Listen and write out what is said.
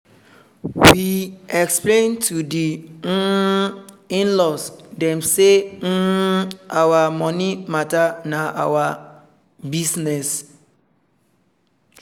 we explain to the um in-laws dem say um our money matter na our business